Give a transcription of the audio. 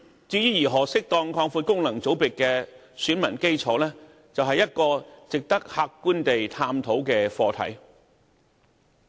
至於如何適當擴闊功能界別的選民基礎，是一個值得客觀地探討的課題。